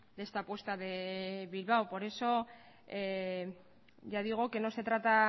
de esta apuesta de bilbao por eso ya digo que no se trata